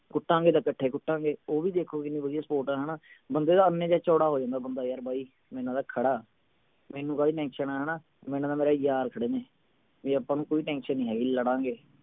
ਕੁਟਾਂਗੇ ਤਾਂ ਕੱਠੇ ਕੁਟਾਂਗੇ ਉਹ ਵੀ ਦੇਖੋ ਕਿੰਨੀ ਵਧੀਆ support ਆ ਹਣਾ ਬੰਦੇ ਦਾ ਇੰਨੇ ਚ ਚੋੜਾ ਹੋ ਜਾਂਦੇ ਬੰਦਾ ਯਾਰ ਬਾਈ ਮੇਰੇ ਨਾਲ ਤਾ ਖੜਾ ਮੈਨੂੰ ਕਾਹਦੀ tension ਆ ਹਣਾ ਮੇਰੇ ਨਾਲ ਤਾਂ ਮੇਰੇ ਯਾਰ ਖੜੇ ਨੇ ਵੀ ਆਪਾਂ ਨੂੰ ਕੋਈ tension ਨਹੀਂ ਹੈਗੀ ਲੜਾਂਗੇ